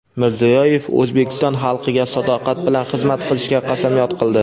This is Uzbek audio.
Mirziyoyev O‘zbekiston xalqiga sadoqat bilan xizmat qilishga qasamyod qildi.